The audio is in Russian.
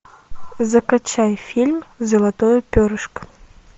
закачай фильм золотое перышко